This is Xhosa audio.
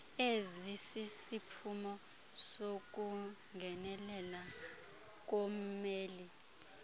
ezisisiphumo sokungenelelela kommeli